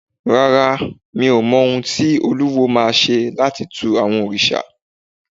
Rárá, mi ò mọ ohun tí olúwo ma ṣe láti tu àwọn òrìṣà.